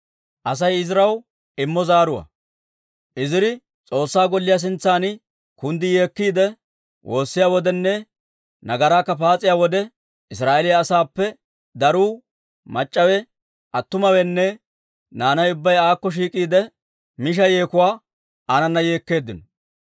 Iziri S'oossaa Golliyaa sintsan kunddi yeekkiide woossiyaa wodenne nagaraakka paas'iyaa wode, Israa'eeliyaa asaappe daruu, mac'c'awe, attumawenne naanay ubbay aakko shiik'iide, misha yeekuwaa aanana yeekkeeddino.